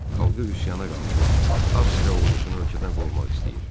Xalqı üsyana qaldırıb Avstriya ordusunu ölkədən qovmaq istəyir.